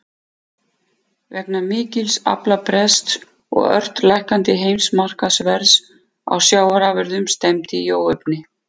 Vegna mikils aflabrests og ört lækkandi heimsmarkaðsverðs á sjávarafurðum stefndi í óefni.